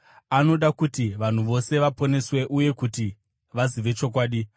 Anoda kuti vanhu vose vaponeswe uye kuti vazive chokwadi.